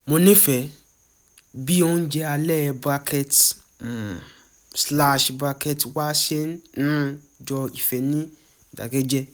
mo nífẹ̀ẹ́ bí oúnjẹ alẹ́ bracket um slash bracket wa ṣe um jọ ìfẹ́ ní ìdákẹ́jẹ